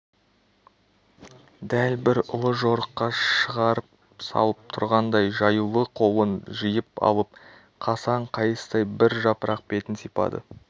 дәл бір ұлы жорыққа шығарып салып тұрғандай жаюлы қолын жиып алып қасаң қайыстай бір жапырақ бетін сипады